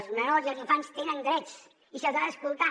els menors i els infants tenen drets i se’ls ha d’escoltar